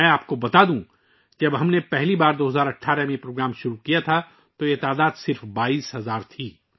2018 میں جب ہم نے پہلی بار یہ پروگرام شروع کیا تھا تو یہ تعداد صرف 22 ہزار تھی